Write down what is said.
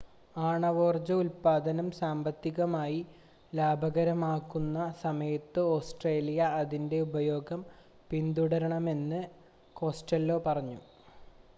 ആണവോർജ്ജ ഉൽപ്പാദനം സാമ്പത്തികമായി ലാഭകരമാകുന്ന സമയത്ത് ഓസ്‌ട്രേലിയ അതിൻ്റെ ഉപയോഗം പിന്തുടരണമെന്ന് കോസ്റ്റെല്ലോ പറഞ്ഞു